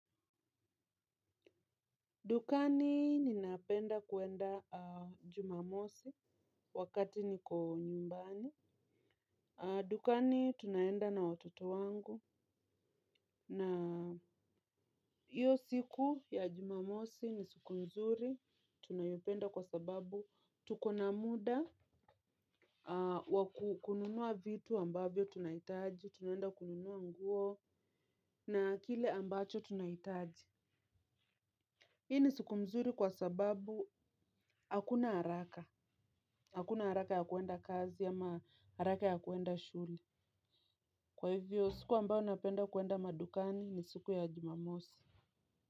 Dukani ninapenda kwenda jumamosi wakati niko nyumbani. Dukani tunaenda na watoto wangu na hiyo siku ya jumamosi ni siku nzuri. Tunayopenda kwa sababu tuko na muda wakununua vitu ambavyo tunahitaji. Tunaenda kununua nguo na kile ambacho tunahitaji. Hii ni siku mzuri kwa sababu hakuna haraka. Hakuna harake ya kwenda kazi ama haraka ya kwenda shule, kwa hivyo siku ambayo napenda kwenda madukani ni siku ya jumamosi.